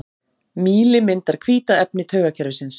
Mýli myndar hvíta efni taugakerfisins.